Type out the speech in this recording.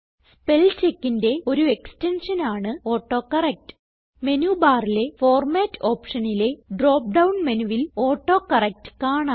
Spellcheckന്റെ ഒരു എക്സ്റ്റെൻഷൻ ആണ് autocorrect menu ബാറിലെ ഫോർമാറ്റ് ഓപ്ഷനിലെ ഡ്രോപ്പ് ഡൌൺ മെനുവിൽ ഓട്ടോകറക്ട് കാണാം